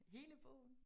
Hele bogen?